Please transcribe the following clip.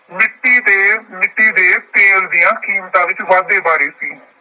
ਮਿੱਟੀ ਦੇ ਮਿੱਟੀ ਦੇ ਤੇਲ ਦੀਆਂ ਕੀਮਤਾਂ ਵਿੱਚ ਵਾਧੇ ਬਾਰੇ ਸੀ।